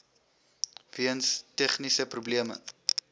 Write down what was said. weens tegniese probleme